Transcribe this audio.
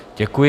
Děkuji.